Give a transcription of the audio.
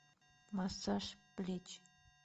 массаж плеч